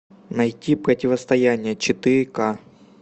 найти противостояние четыре ка